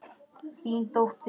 Þín dóttir.